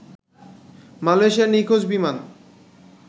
মালয়েশিয়ার নিখোঁজ বিমান